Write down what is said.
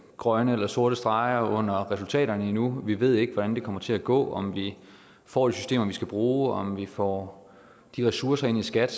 grønne eller sorte streger under resultaterne endnu vi ved ikke hvordan det kommer til at gå om vi får de systemer vi skal bruge om vi får de ressourcer ind i skat